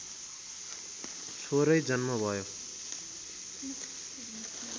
छोरै जन्म भयो